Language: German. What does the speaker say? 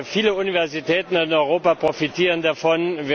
Viele Universitäten in Europa profitieren davon.